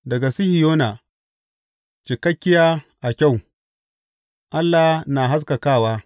Daga Sihiyona, cikakkiya a kyau, Allah na haskakawa.